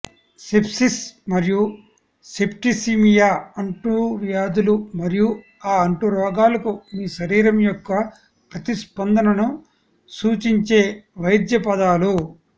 sepsis మరియు septicaemia అంటువ్యాధులు మరియు ఆ అంటురోగాలకు మీ శరీరం యొక్క ప్రతిస్పందనను సూచించే వైద్య పదాలు